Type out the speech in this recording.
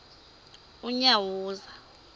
unyawuza